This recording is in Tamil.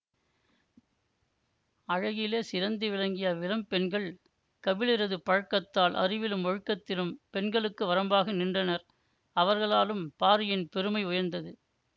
அழகிலே சிறந்து விளங்கிய அவ்விளம் பெண்கள் கபிலரது பழக்கத்தால் அறிவிலும் ஒழுக்கத்திலும் பெண்களுக்கு வரம்பாக நின்றனர்அவர்களாலும் பாரியின் பெருமை உயர்ந்தது